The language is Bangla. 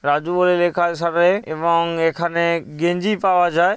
রাজু বলে লেখা শাটারে এবং এখানে গেঞ্জি পাওয়া যায়।